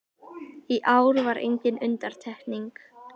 Í ár var engin undantekning